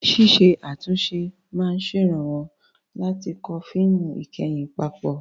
Ṣíṣe àtúnṣe máa ń ṣèrànwọ́ láti kó fíìmù ìkẹyìn papọ̀.